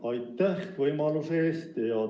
Jaa, aitäh võimaluse eest!